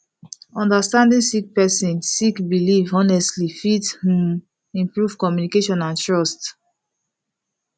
understanding sik person sik biliv honestly fit um improve communication and trust